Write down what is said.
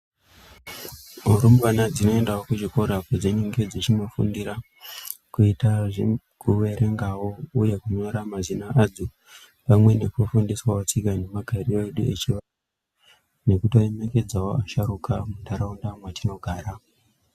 Rumbwana dzinoendawo kuchikora padzinenge kuitawo zvekuverengawo uye kunyora mazina adzo pamwe ndekufundiswa tsika nemagariro Edu echivantu nekuremekedza vantu mundaraunda medu.